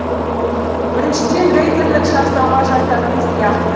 біріншіден рейдерлік жасауға жататын сияқты